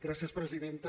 gràcies presidenta